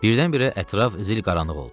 Birdən-birə ətraf zil qaranlıq oldu.